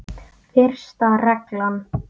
Fyrsta reglan.